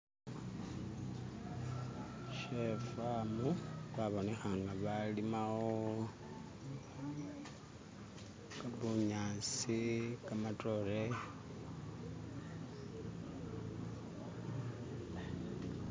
She farm, kwabonekha nga balima wo bunyasi, kamatoore